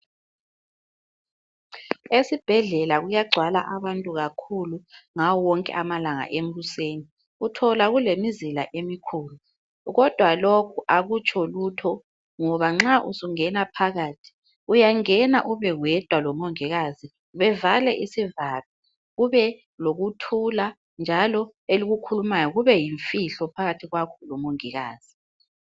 Esibhedlela kuyagcwala abantu kakhulu ngawo wonke amalanga ekuseni uthola kulemizila emikhulu, kodwa lokhu akutsho lutho ngoba nxa uzongena phakathi uyangena ube wedwa lomongikazi bevale isivalo kubelokuthula njalo elikukhulumayo kube yimfihlo phakathi kwakho lomongikazi.